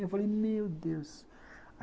Eu falei, meu Deus.